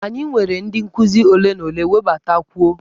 Anyị nwere ndị nkuzi ole na ole, webatakwuo!